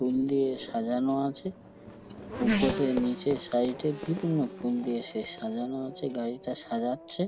ফুল দিয়ে সাজানো আছে ওপরে নিচে সাইড এ বিভিন্ন ফুল দিয়ে সে সাজানো আছে গাড়িটা সাজাচ্ছে।